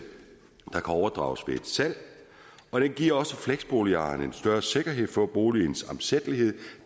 der overdrages ved et salg og den giver også fleksboligejeren en større sikkerhed for boligens omsættelighed